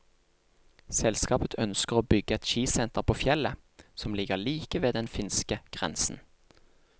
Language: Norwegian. Selskapet ønsker å bygge et skisenter på fjellet, som ligger like ved den finske grensen.